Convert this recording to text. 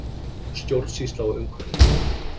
Stjórnsýslan og umhverfið